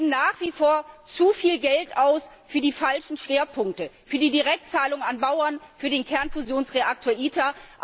Wir geben nach wie vor zu viel Geld für die falschen Schwerpunkte aus für die Direktzahlung an Bauern, für den Kernfusionsreaktor ITER.